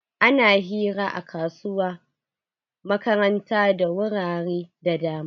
Ana hira a kasuwa makaranta da wurare da dama.